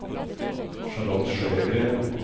Charlotte Sjögren